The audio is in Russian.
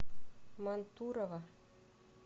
мантурово